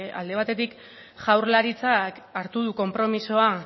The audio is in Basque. alde batetik jaurlaritzak hartu du konpromisoa